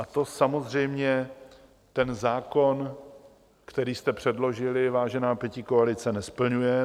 A to samozřejmě ten zákon, který jste předložili, vážená pětikoalice, nesplňuje.